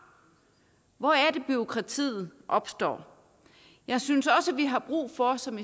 hvor er det bureaukratiet opstår jeg synes også vi har brug for som